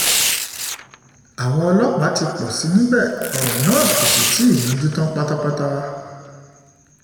àwọn ọlọ́pàá ti pọ̀ sí i níbẹ̀ ọ̀rọ̀ náà kò sì tí ì yanjú tán pátápátá